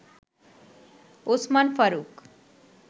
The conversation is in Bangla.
ওসমান ফারুক